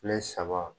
Kile saba